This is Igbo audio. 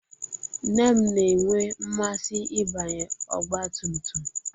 Nne m na-enwe mmasị ịbanye ọgbatumtum